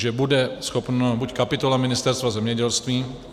Že bude schopna buď kapitola Ministerstva zemědělství...